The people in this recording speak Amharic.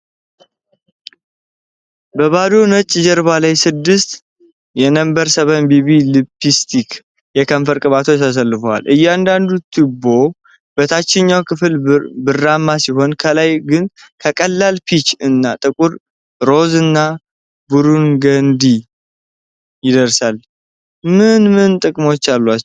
በባዶ ነጭ ጀርባ ላይ ስድስት የNo7 BB Lips የከንፈር ቅባቶች ተሰልፈዋል። እያንዳንዱ ቱቦ በታችኛው ክፍል ብርማ ሲሆን፣ ከላይ ግን ከቀላል ፒች እስከ ጥቁር ሮዝ እና ቡርገንዲ ይደርሳል። ምን ምን ጥቅሞች አሏቸው?